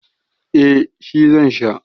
eh shi zan Sha